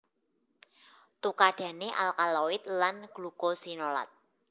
Tukadhane alkaloid lan glukosinolat